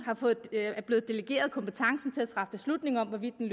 er blevet delegeret kompetencen til at træffe beslutning om hvorvidt den